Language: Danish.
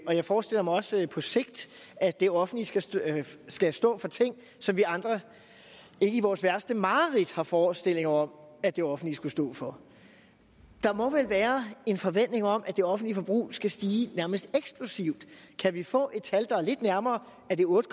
jeg forestiller mig også på sigt at det offentlige skal stå skal stå for ting som vi andre ikke i vores værste mareridt har forestillinger om at det offentlige skulle stå for der må vel være en forventning om at det offentlige forbrug skal stige nærmest eksplosivt kan vi få et tal der er lidt nærmere er det otte